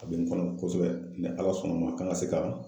A bɛ n kɔnɔ kosɛbɛ mɛ Ala sɔnn'a ma k'an ka se ka